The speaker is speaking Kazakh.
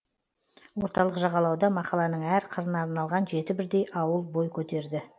орталық жағалауда мақаланың әр қырына арналған жеті бірдей ауыл бой көтерді